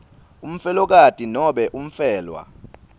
umfelokati nobe umfelwa